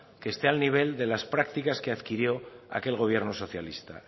que esté al nivel de las prácticas que adquirió aquel gobierno socialista